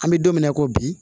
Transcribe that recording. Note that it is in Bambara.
An bɛ don min na i ko bi